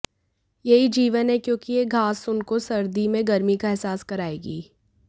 यही जीवन है क्योंकि यह घास उनको सर्दी में गर्मी का अहसास करायेगी